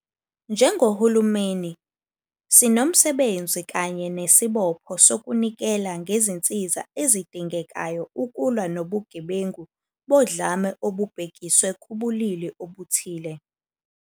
Njengohulumeni, sinomsebenzi kanye nesibopho sokunikela ngezinsiza ezidingekayo ukulwa nobugebengu bodlame olubhekiswe kubulili obuthile.